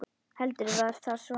Heldur var það svona!